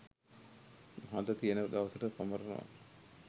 හද තියෙන දවසට සමරනවා